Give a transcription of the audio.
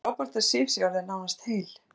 Það er frábært að Sif sé orðin nánast heil.